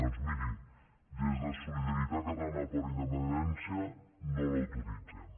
doncs miri des de solidaritat catalana per la independència no l’autoritzem